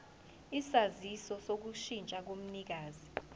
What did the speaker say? isaziso sokushintsha komnikazi